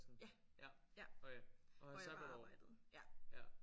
Ja ja. Hvor jeg bare arbejdede ja